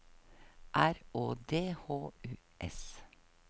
R Å D H U S